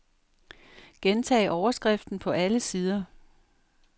Gentag overskriften på alle sider.